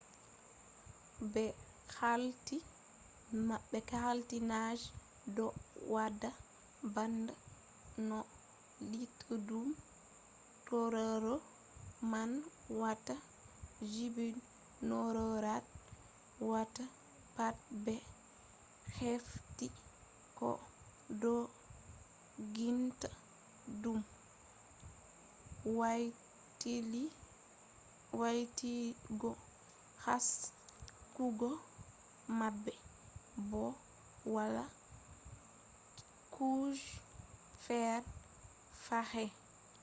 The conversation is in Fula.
be hefti nange do wada bana no luttudum tauraro man watta; kujeji tauraro watta pat be hefti ko dogginta dum waylutuggo haskugo mabbe bo wala kuje fere fahin